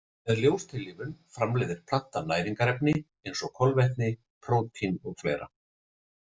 Með ljóstillífun framleiðir plantan næringarefni eins og kolvetni, prótín og fleira.